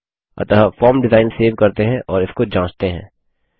अतः form design save करते हैं और इसको जाँचते हैं